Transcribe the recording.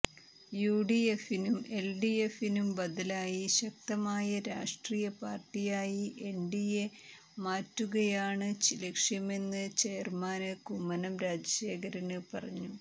യുഡിഎഫിനും എല്ഡിഎഫിനും ബദലായി ശക്തമായ രാഷ്ട്രീയ പാര്ട്ടിയായി എന്ഡിഎയെ മാറ്റുകയാണ് ലക്ഷ്യമെന്ന് ചെയര്മാന് കുമ്മനം രാജശേഖരന് പറഞ്ഞു